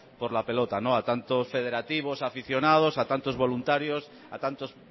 por la pelota a tantos federativos aficionados a tantos voluntarios a tantos